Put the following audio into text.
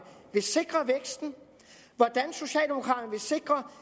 vil sikre væksten hvordan socialdemokraterne vil sikre